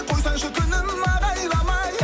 қойсаңшы күнім ағайламай